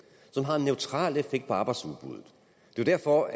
som har en neutral effekt på arbejdsudbuddet det er derfor